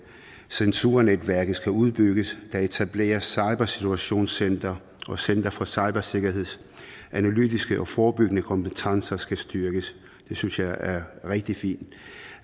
censurnetværket skal udbygges at der etableres cybersituationscentre og centre for cybersikkerhed og at analytiske og forebyggende kompetencer skal styrkes det synes jeg er rigtig fint